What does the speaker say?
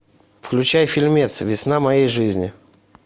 включай фильмец весна моей жизни